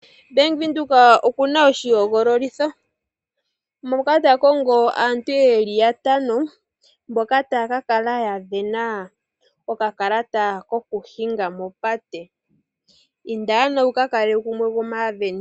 Bank Windhoek okuna oshihogololitho moka ta kongo aantu yeli yatano mboka taya ka kala ya vena okakalata kokuhinga mopate inda ano wuka kale gumwe gomaaveni.